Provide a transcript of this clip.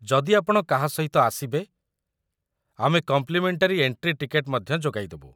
ଯଦି ଆପଣ କାହା ସହିତ ଆସିବେ, ଆମେ କମ୍ପ୍ଲିମେଣ୍ଟାରୀ ଏଣ୍ଟ୍ରି ଟିକେଟ୍‌ ମଧ୍ୟ ଯୋଗାଇଦେବୁ ।